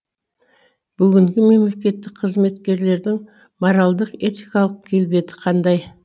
бүгінгі мемлекеттік қызметкерлердің моральдық этикалық келбеті қандай